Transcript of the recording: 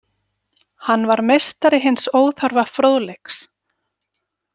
Hann var meistari hins óþarfa fróðleiks.